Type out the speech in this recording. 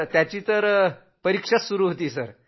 त्याची परिक्षा होती सर